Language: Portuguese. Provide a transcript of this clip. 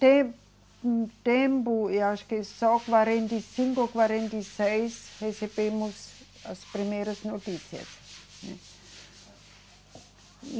Teve um tempo, eu acho que só quarenta e cinco, quarenta e seis recebemos as primeiras notícias, né